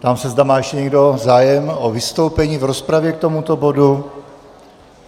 Ptám se, zda má ještě někdo zájem o vystoupení v rozpravě k tomuto bodu.